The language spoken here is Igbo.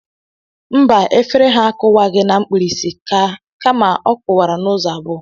Mba efere ha akụwaghị na mkpirisi ka ma ọ kụwara n’ụzọ abụọ